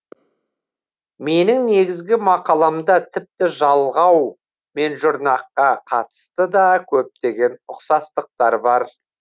менің негізгі мақаламда тіпті жалғау мен жұрнаққа қатысты да көптеген ұқсастықтар бар